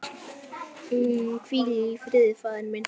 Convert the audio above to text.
Hvíl í friði faðir minn.